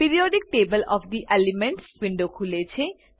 periodic table of the elements window ખુલે છે